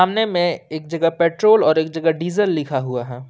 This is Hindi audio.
देखने में एक जगह पेट्रोल और एक जगह डीजल लिखा हुआ है।